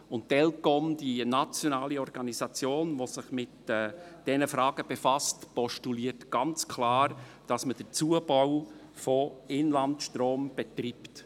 Die Eidgenössische Elektrizitätskommission (ElCom), die nationale Organisation, welche sich mit diesen Fragen befasst, postuliert ganz klar, dass man den Zubau von Inlandstrom betreibt.